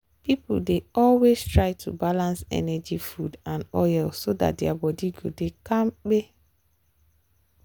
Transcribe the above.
people dey always try to balance energy food and oil so dat their body go dey kampe.